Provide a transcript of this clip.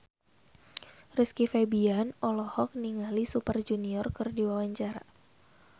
Rizky Febian olohok ningali Super Junior keur diwawancara